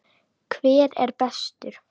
Hver er bestur?